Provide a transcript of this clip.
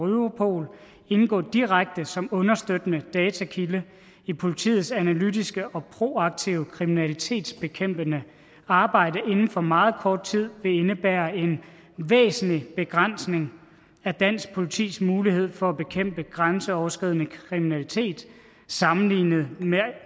europol indgå direkte som understøttende datakilde i politiets analytiske og proaktive kriminalitetsbekæmpende arbejde inden for meget kort tid vil indebære en væsentlig begrænsning af dansk politis mulighed for at bekæmpe grænseoverskridende kriminalitet sammenlignet med